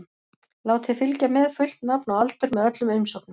Látið fylgja með fullt nafn og aldur með öllum umsóknum.